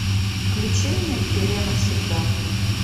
включи мне пеле навсегда